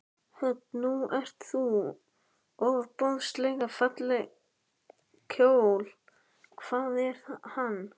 Hödd: Nú ert þú ofboðslega fallegum kjól, hvaðan er hann?